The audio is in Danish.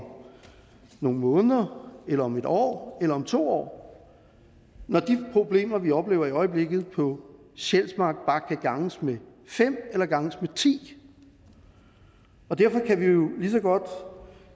nogle måneder eller om et år eller om to år når de problemer vi oplever i øjeblikket på sjælsmark bare kan ganges med fem eller ganges med ti derfor kan vi jo lige så godt